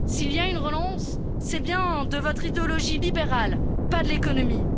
S'il y a une relance, c'est bien de votre idéologie libérale, pas de l'économie.